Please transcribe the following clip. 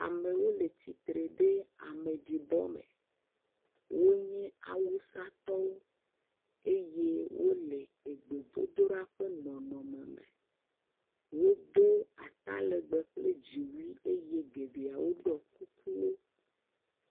Amewo le tsitre le ameɖibɔ me, wonye awusatɔwo eye wole gbedodoɖa ƒe nɔnɔme me. Wodo atalegbe kple dziwui eye ame geɖewo ɖɔ kukuwo.